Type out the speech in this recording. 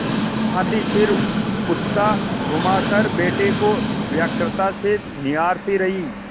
भाँति सिर उचकाघुमाकर बेटे को व्यग्रता से निहारती रही